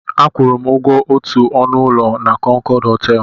A kwụrụ ụgwọ otu ọnụ ụlọ na Kọnkọd họtelụ.